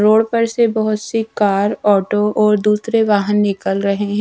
Road पर से बहुत सी कार ऑटो और दूसरे वाहन निकल रहे हैं।